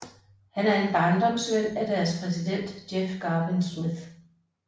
Han er en barndomsven af deres præsident Jeff Garvin Smith